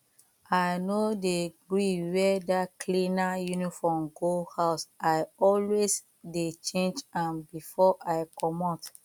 i no dey gree wear dat cleaner uniform go house i always dey change am before i comot